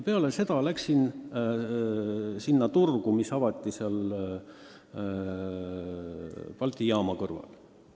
Seejärel läksin sellele turule, mis avati Balti jaama kõrval.